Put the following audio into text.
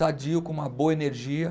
Sadio, com uma boa energia.